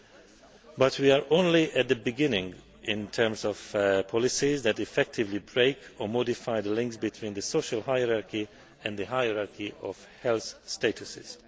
However, we are only at the beginning in terms of policies that effectively break or modify the links between the social hierarchy and the hierarchy of health statuses.